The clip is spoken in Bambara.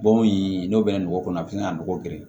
Bɔn in n'o bɛ na nɔgɔ kɔnɔ a bɛ se ka nɔgɔ geren